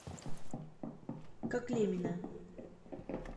коклемина